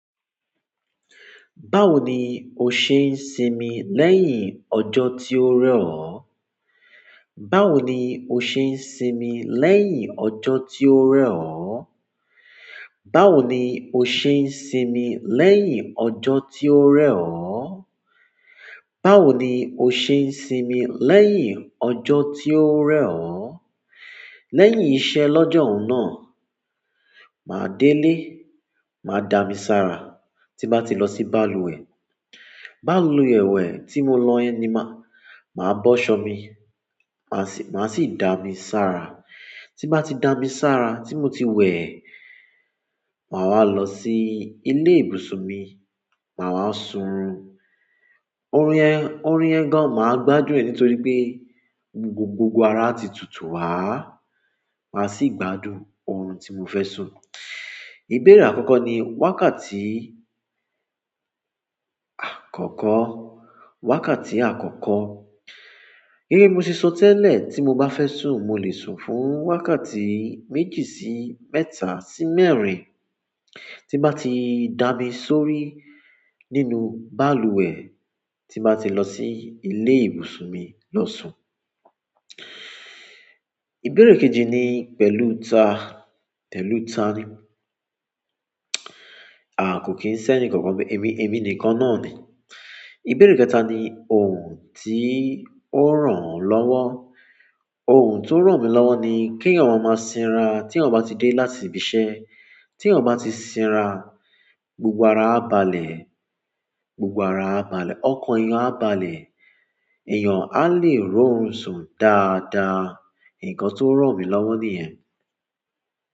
Báwo ni o ṣe ń sinmi lẹ́yìn ọjọ́ tí ó rẹwà? Báwo ni o ṣe ń sinmi lẹ́yìn ọjọ́ tí ó rẹwà? Báwo ni o ṣe ń sinmi lẹ́yìn ọjọ́ tí ó rẹwà? Báwo ni o ṣe ń sinmi lẹ́yìn ọjọ́ tí ó rẹ̀ ọ́? Lẹ́yìn iṣẹ́ lọ́jọ́ hun náà, màá délé, màá dà mí sára tí n bá ti lọ sí balùwẹ̀. Balùwẹ̀ tí mo lọ yẹn ni ma máa bọ́ aṣọ mi máa ṣí dami sára tí bá ti dà mí sára tí mo ti wẹ̀, màá wá lọ sí ilé ìbùsùn mi, màá wá sùn. Orun yẹn, orun yẹn gan, màá gbádùn rẹ̀ nítorí pé gbogbo, gbogbo ara á ti tutù wá. Màá sì gbádùn oòrùn tí mo fẹ́ sùn. Ìbéèrè àkọ́kọ́ ni wákàtí àkọ́kọ́, wákàtí àkọ́kọ́. Gẹ́gẹ́ bí mo ṣe sọ tẹ́lẹ̀ tí mo bá fẹ́ sùn, mo lè sùn fún wákàtí méjì sí mẹ́ta sí mẹ́rin. Tí n bá ti dà mí sórí nínú balùwẹ̀, tí n bá ti lọ sí ilé ìbùsùn mi lọ sùn. Ìbéèrè kejì ni pẹ̀lú ta, pẹ̀lú ta ni? A kò kín sẹ́ni kankan níbẹ̀, èmi, èmi nìkan náà ni. Ìbéèrè kẹta ni ohun tí ó ràn ọ́ lọ́wọ́. Ohun tó ràn mí lọ́wọ́ ni kí èèyàn yàn máa máa sinra tí ẹ̀yàn bá ti dé láti ibi iṣẹ́. Tí èèyàn yàn bá ti sinra, gbogbo ara á balẹ̀, gbogbo ara á balẹ̀, ọkàn èèyàn á balẹ̀, èèyàn á le rí orun sùn dáadáa. Ǹkan tó ràn mí lọ́wọ́ ní yẹn.